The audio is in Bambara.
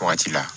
Wagati la